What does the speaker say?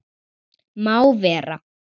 Má vera.